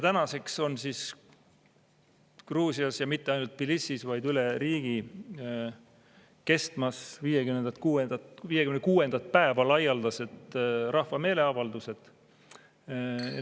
Tänaseks on Gruusias, ja mitte ainult Tbilisis, vaid üle riigi kestmas 56. päeva laialdased rahva meeleavaldused.